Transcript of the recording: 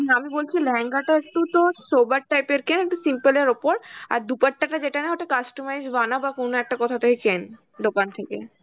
হম আমি বলছি লেহেঙ্গা টা একটু তোর sober type এর কেন, একটু simple এর ওপর, আর দুপাট্টা টা যেটা নেয় হয়তো customize বানা বা কোন একটা কোথা থেকে কেন দোকান থেকে.